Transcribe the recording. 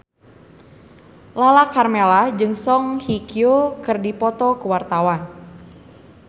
Lala Karmela jeung Song Hye Kyo keur dipoto ku wartawan